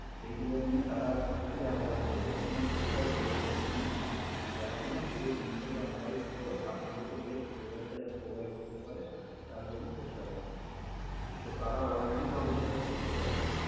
সেইগুলো নিয়ে তারা প্রচুর analyze করে। এটার জন্য একটা গোটা dedicated team আছে, যারা কিনা পুরো জিনিসটাকে analyze করে আপনাদেরকে best result টা যাতে provide করতে পারে তার জন্য চেষ্টা করে। তো, তারা already সব research করে রাখে।